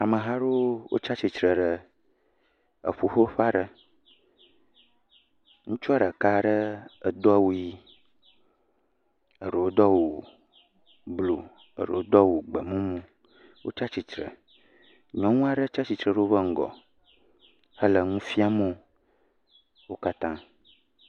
Ameha aɖewo tsia tsire ɖe eƒuƒoƒe aɖe, ŋutsua ɖeka ɖe edo awu ʋi, eɖewo do awu blu, eɖewo do awu gbemumu, wotsia tsitre. Nyɔnu aɖe tsia tsitre ɖe woƒe ŋgɔ hele nu fiam wo.